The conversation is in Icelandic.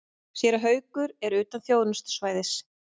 Séra Haukur er utan þjónustusvæðis.